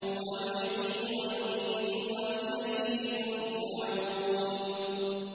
هُوَ يُحْيِي وَيُمِيتُ وَإِلَيْهِ تُرْجَعُونَ